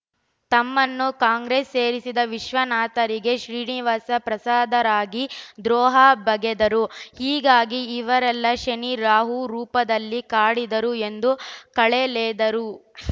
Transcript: ತಮ್ಮನ್ನು ಕಾಂಗ್ರೆಸ್‌ ಸೇರಿಸಿದ ವಿಶ್ವನಾಥರಿಗೆ ಶ್ರೀನಿವಾಸ ಪ್ರಸಾದರಿಗೆ ದ್ರೋಹ ಬಗೆದರು ಹೀಗಾಗಿ ಇವರೆಲ್ಲ ಶನಿ ರಾಹು ರೂಪದಲ್ಲಿ ಕಾಡಿದರು ಎಂದು ಕಾಲೆಳೆದರು